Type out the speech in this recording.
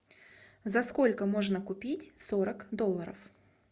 за сколько можно купить сорок долларов